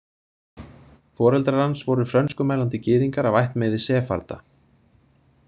Foreldrar hans voru frönskumælandi gyðingar af ættmeiði sefarda.